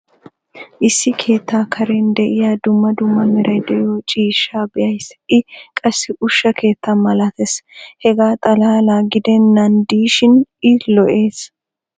issi keettaa karen diya dumma dumma meray diyo ciishshaa be'ays. i qassi ushsha keetta malatees. hegaa xalaala giddenan diishin i lo'ees.